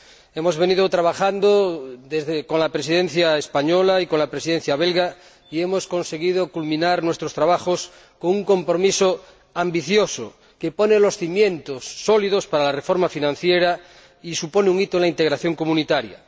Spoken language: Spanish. Hemos venido trabajando con la Presidencia española y con la Presidencia belga, y hemos conseguido culminar nuestros trabajos con un compromiso ambicioso que pone los cimientos sólidos para la reformar financiera y supone un hito en la integración comunitaria.